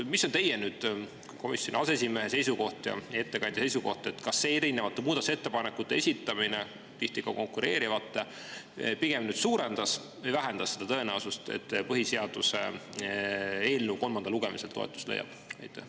Mis on teie kui komisjoni aseesimehe ja ettekandja seisukoht, kas see erinevate, tihti ka konkureerivate muudatusettepanekute esitamine suurendas või vähendas tõenäosust, et põhiseaduse eelnõu kolmandal lugemisel toetust leiab?